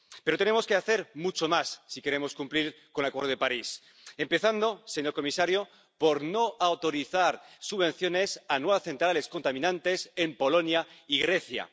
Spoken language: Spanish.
Pero tenemos que hacer mucho más si queremos cumplir con el Acuerdo de París, empezando, señor comisario, por no autorizar subvenciones a nuevas centrales contaminantes en Polonia y Grecia.